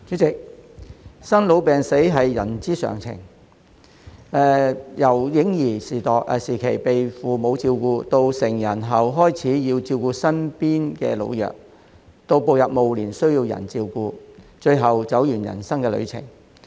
代理主席，生老病死是人之常情，由嬰兒時期被父母照顧，到成人後開始要照顧身邊的老弱，到步入暮年需要人照顧，最後走完人生旅程。